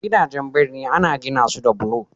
gidajen birni ana gina su da bulo